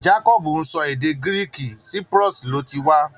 Jacob ń sọ èdè Greek, Cyprus ló ti wá.